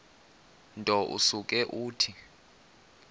nto usuke uthi